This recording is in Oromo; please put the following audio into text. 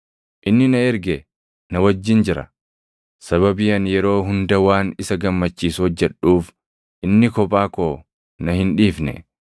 Inni na erge na wajjin jira; sababii ani yeroo hunda waan isa gammachiisu hojjedhuuf, inni kophaa koo na hin dhiifne.”